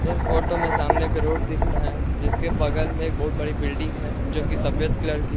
इस फोटो में सामने एक रोड दिख रहा है। जिसके बगल में एक बहुत बड़ी बिल्डिंग है जो कि सफेद कलर की है।